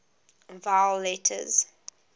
vowel letters